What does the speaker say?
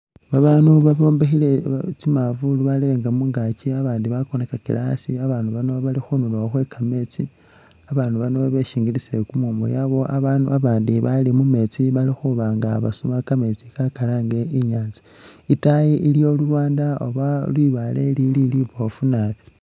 Baabandu babombekhele tsi mavulu barere mungakyi abandi bakonakakile asi abandu bano Bali khunduro khwe kameesti , babaandu bano beshingilisile kumumu yabawo abandu abandi bali mumeetsi Bali khubanga basuba kameetsi ka kalange inyatsa itayi iliyo lulwanda oba libaale lili libofu nabi.